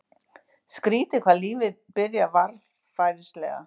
Skrýtið hvað lífið byrjar varfærnislega.